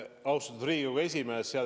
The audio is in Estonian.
Austatud Riigikogu esimees!